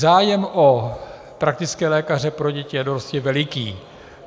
Zájem o praktické lékaře pro děti a dorost je veliký.